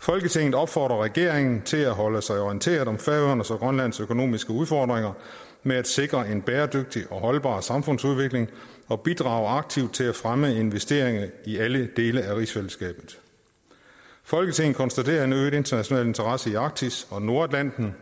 folketinget opfordrer regeringen til at holde sig orienteret om færøernes og grønlands økonomiske udfordringer med at sikre en bæredygtig og holdbar samfundsudvikling og bidrage aktivt til at fremme investeringer i alle dele af rigsfællesskabet folketinget konstaterer en øget international interesse i arktis og nordatlanten